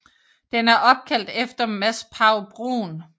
Den er opkaldt efter Mads Pagh Bruun